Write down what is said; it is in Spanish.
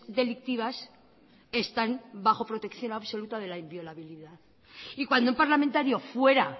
delictivas están bajo protección absoluta de la inviolabilidad y cuando un parlamentario fuera